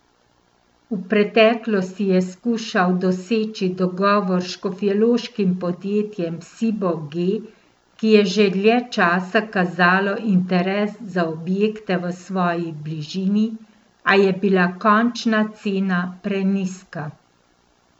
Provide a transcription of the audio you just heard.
V preteklosti je skušal doseči dogovor s škofjeloškim podjetjem Sibo G, ki je že dlje časa kazalo interes za objekte v svoji bližini, a je bila končna cena prenizka.